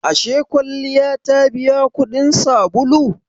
Ashe kwalliya ta biya kudin sabulu?